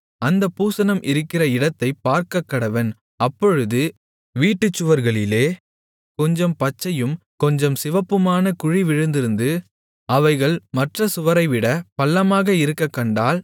அந்தப் பூசணம் இருக்கிற இடத்தைப் பார்க்கக்கடவன் அப்பொழுது வீட்டுச் சுவர்களிலே கொஞ்சம் பச்சையும் கொஞ்சம் சிவப்புமான குழி விழுந்திருந்து அவைகள் மற்ற சுவரைவிட பள்ளமாக இருக்கக்கண்டால்